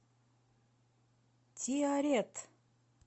тиарет